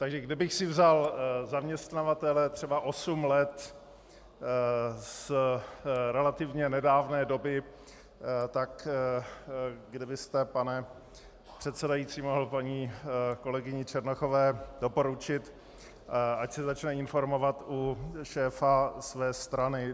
Takže kdybych si vzal zaměstnavatele třeba osm let z relativně nedávné doby, tak kdybyste, pane předsedající, mohl paní kolegyni Černochové doporučit, ať se začne informovat u šéfa své strany.